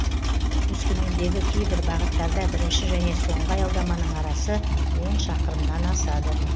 өскемендегі кейбір бағыттарда бірінші және соңғы аялдаманың арасы он шақырымнан асады